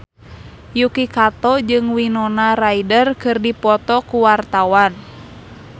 Yuki Kato jeung Winona Ryder keur dipoto ku wartawan